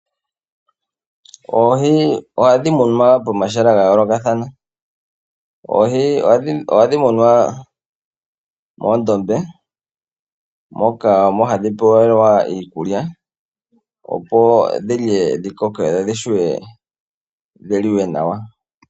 Oohi oha dhimunwa pomahala yayoolokathana, oha dhimunwa moondombe, moka hadhi pewelwamo iikulya, opo dhi lye dhi kokeke op dhivulwe okuliwa nawa.